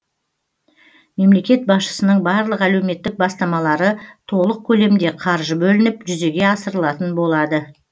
мемлекет басшысының барлық әлеуметтік бастамалары толық көлемде қаржы бөлініп жүзеге асырылатын болады